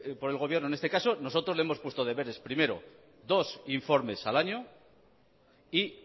por el gobierno nosotros le hemos puesto deberes primero dos informes al año y